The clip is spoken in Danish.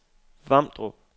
Vamdrup